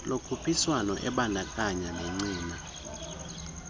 lokhuphiswano ebandakanya negcina